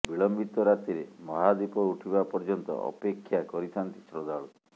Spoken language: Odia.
ବିଳମ୍ବିତ ରାତିରେ ମହାଦୀପ ଉଠିବା ପର୍ଯ୍ୟନ୍ତ ଅପେକ୍ଷା କରିଥାନ୍ତି ଶ୍ରଦ୍ଧାଳୁ